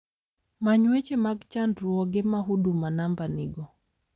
Many weche mag chandruoge ma huduma number nigo